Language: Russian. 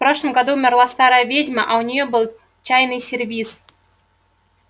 в прошлом году умерла старая ведьма а у нее был чайный сервиз